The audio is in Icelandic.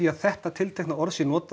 að þetta tiltekna orð sé notað